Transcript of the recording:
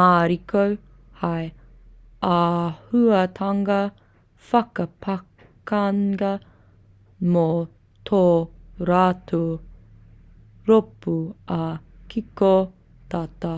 mariko hei āhuatanga whakapākanga mō tō rātou rōpū ā-kiko tata